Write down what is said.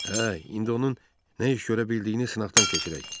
Hə, indi onun nə iş görə bildiyini sınaqdan keçirək.